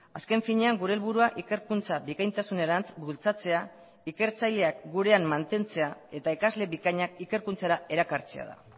azken finean gure helburua ikerkuntza bikaintasunerantz bultzatzea ikertzaileak gurean mantentzea eta ikasle bikainak ikerkuntzara erakartzea da